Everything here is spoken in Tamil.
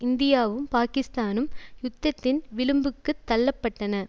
இந்தியாவும் பாகிஸ்தானும் யுத்தத்தின் விளிம்புக்குத் தள்ளப்பட்டன